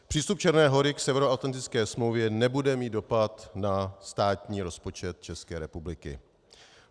Přístup Černé Hory k Severoatlantické smlouvě nebude mít dopad na státní rozpočet České republiky.